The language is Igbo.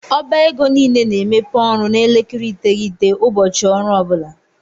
Ọba égo niile na - emepe ọrụ na elekere iteghete ụbọchị ọrụ ọbula.